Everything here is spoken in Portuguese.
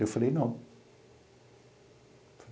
Eu falei, não.